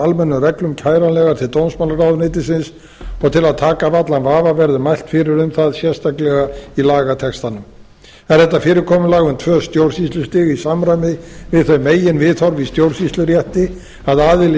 almennum reglum kæranlegar til dómsmálaráðuneytisins og til að taka af allan vafa verður mælt fyrir um það sérstaklega í lagatextanum er þetta fyrirkomulag um tvö stjórnsýslustig í samræmi við þau meginviðhorf í stjórnsýslurétti að aðili